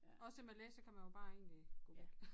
Også med læse kan man jo bare egentlig gå væk